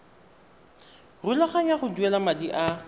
rulaganya go duela madi a